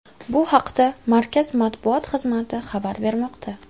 Bu haqda markaz matbuot xizmati xabar bermoqda .